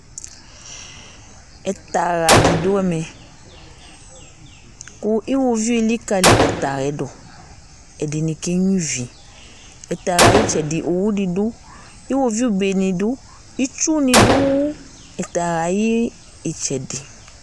Ɛtahaɖi ɖu ɛmɛ, ƙʊ ʊwoʋɩʊ élika ɛtahayɛɖʊ Ƙɛɖiŋɩ ƙénɣoa ɩʋɩ Ɛtaha ayɩtsɛɖɩ ʊvɩɖɩ ɖʊ Ɩwoʋi ɓénɩ ɖʊ, ɩtsunɩ ɖu ɛtaha ayitsɛɖɩ